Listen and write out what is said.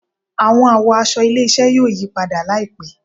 Awọn àwọ̀ aṣọ ilé-iṣẹ yóò yí padà laipẹ